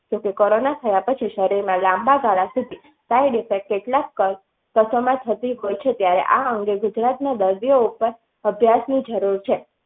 તેથી કોરોના થયા પછી શરીર માં લાંબા ગાળા સુધી ત્યારે આ અંગે ગુજરાત ના દર્દીઓ પર અભ્યાસ ની જરૂર છે.